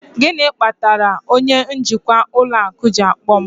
Gịnị kpatara onye njikwa ụlọ akụ ji akpọ m?